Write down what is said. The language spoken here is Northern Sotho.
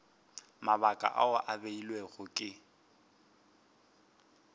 mabaka ao a beilwego ke